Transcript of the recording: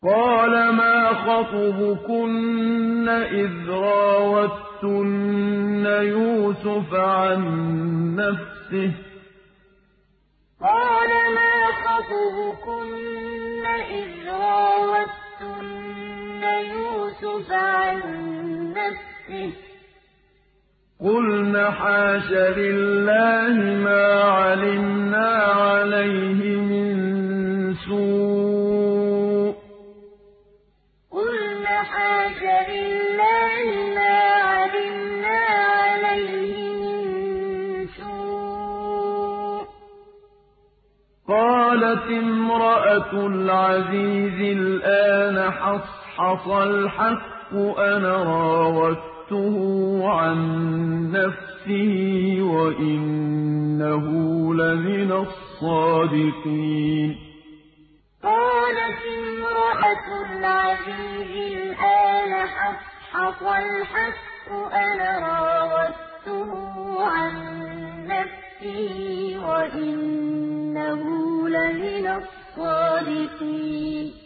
قَالَ مَا خَطْبُكُنَّ إِذْ رَاوَدتُّنَّ يُوسُفَ عَن نَّفْسِهِ ۚ قُلْنَ حَاشَ لِلَّهِ مَا عَلِمْنَا عَلَيْهِ مِن سُوءٍ ۚ قَالَتِ امْرَأَتُ الْعَزِيزِ الْآنَ حَصْحَصَ الْحَقُّ أَنَا رَاوَدتُّهُ عَن نَّفْسِهِ وَإِنَّهُ لَمِنَ الصَّادِقِينَ قَالَ مَا خَطْبُكُنَّ إِذْ رَاوَدتُّنَّ يُوسُفَ عَن نَّفْسِهِ ۚ قُلْنَ حَاشَ لِلَّهِ مَا عَلِمْنَا عَلَيْهِ مِن سُوءٍ ۚ قَالَتِ امْرَأَتُ الْعَزِيزِ الْآنَ حَصْحَصَ الْحَقُّ أَنَا رَاوَدتُّهُ عَن نَّفْسِهِ وَإِنَّهُ لَمِنَ الصَّادِقِينَ